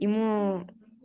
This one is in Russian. ему